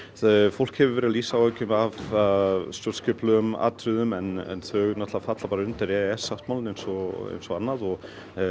fólk hefur verið að lýsa áhyggjum af stjórnskipulegum atriðum en þau falla bara undir e e s sáttmálann eins og annað og